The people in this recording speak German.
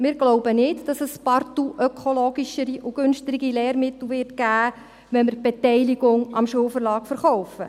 Wir glauben nicht, dass es partout ökologischere und günstigere Lehrmittel geben wird, wenn wir die Beteiligung am Schulverlag verkaufen.